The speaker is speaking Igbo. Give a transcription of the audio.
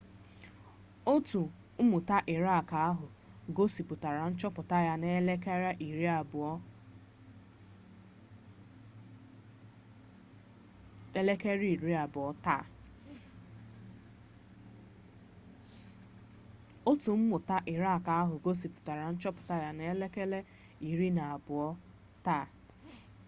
otu mmụta irak ahụ gosipụtara nchọpụta ya na 12.00 gmt taa